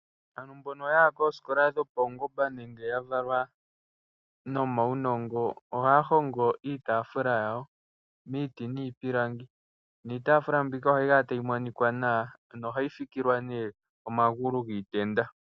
Aantu mbono yaya koosikola dhapaungomba nenge yavalwa nomaunongo, ohaya hongo iitaafula yawo miiti nomiipilangi. Iitaafula mbika ohayi kala tayi monika nawa, ohayi fikilwa omagulu giitenda.